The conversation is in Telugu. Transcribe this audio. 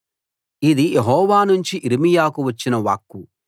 ఇది యెహోవా నుంచి యిర్మీయాకు వచ్చిన వాక్కు